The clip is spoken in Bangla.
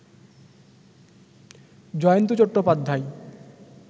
জয়ন্ত চট্টোপাধ্যায়